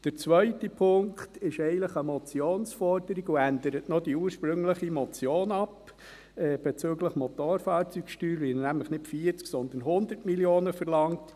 Der zweite Punkt ist eigentlich eine Motionsforderung und ändert die ursprüngliche Motion bezüglich der Motorfahrzeugsteuer noch ab, weil er nämlich nicht 40 Mio. Franken, sondern 100 Mio. Franken verlangt.